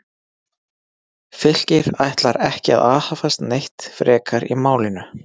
Fylkir ætlar ekki að aðhafast neitt frekar í málinu.